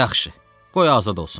Yaxşı, qoy azad olsun.